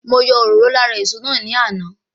Mo yọ òróró lára èso náà ní àná